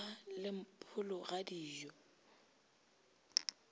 ba le mpholo ga dijo